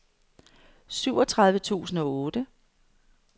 syvogtredive tusind og otte